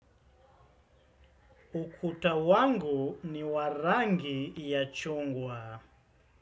Ukuta wangu ni wa rangi ya chungwa.